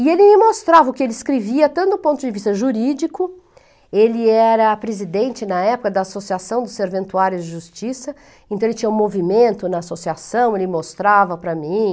E ele me mostrava o que ele escrevia, tanto do ponto de vista jurídico, ele era presidente na época da Associação dos Serventuários de Justiça, então ele tinha um movimento na associação, ele mostrava para mim,